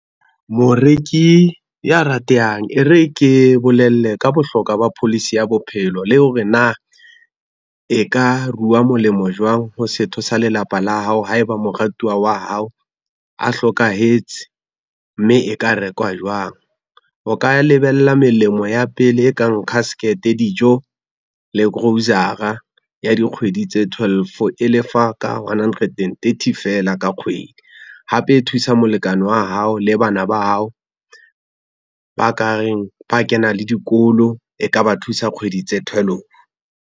Moreki ya ratehang e re ke bolelle ka bohlokwa ba policy ya bophelo le hore na, e ka ruwa molemo jwang ho setho sa lelapa la hao haeba moratuwa wa hao a hlokahetse, mme e ka rekwa jwang. O ka lebella melemo ya pele e kang casket, dijo le grocer-a ya dikgwedi tse twelve, e lefa ka onehundred and thirty fela ka kgwedi, hape e thusa molekane wa hao le bana ba hao, ba ka reng ba kena le dikolo e ka ba thusa kgwedi tse thwelofo.